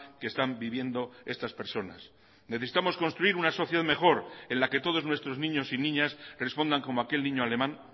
que están viviendo estas personas necesitamos construir una sociedad mejor en la que todos nuestros niños y niñas respondan como aquel niño alemán